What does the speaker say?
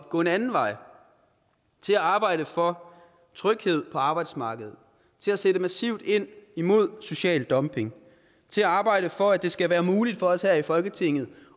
gå en anden vej til at arbejde for tryghed på arbejdsmarkedet til at sætte massivt ind imod social dumping til at arbejde for at det skal være muligt for os her i folketinget